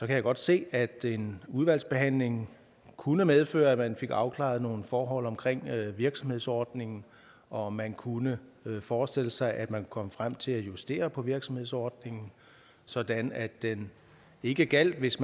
jeg godt se at en udvalgsbehandling kunne medføre at man fik afklaret nogle forhold omkring virksomhedsordningen og man kunne forestille sig at man kunne komme frem til at justere på virksomhedsordningen sådan at den ikke gjaldt hvis